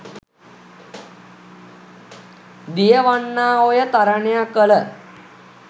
දියවන්නා ඔය තරණය කළ